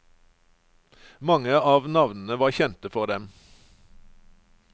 Mange av navnene var kjente for dem.